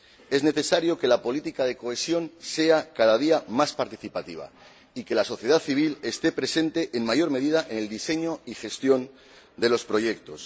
Es necesario que la política de cohesión sea cada día más participativa y que la sociedad civil esté presente en mayor medida en el diseño y la gestión de los proyectos.